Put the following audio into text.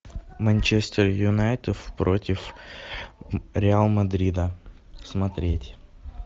манчестер юнайтед против реал мадрида смотреть